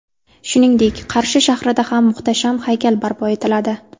Shuningdek, Qarshi shahrida ham muhtasham haykal barpo etiladi.